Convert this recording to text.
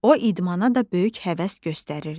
O idmana da böyük həvəs göstərirdi.